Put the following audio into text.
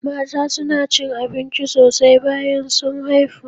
Mata suna cin abinci sosai bayan sun haifu